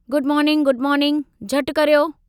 Good morning good morning, झटि करियो।